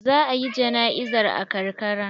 Za a yi jana'izar a karkara.